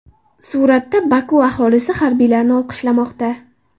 Suratda: Boku aholisi harbiylarni olqishlamoqda.